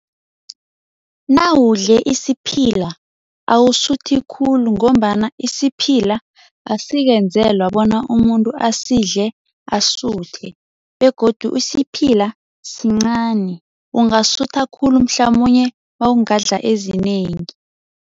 Nawudle isiphila awusuthi khulu ngombana isiphila asikenzelwa bona umuntu asidle asuthe begodu isiphila sincani, ungasutha khulu mhlamunye mawungadla ezinengi.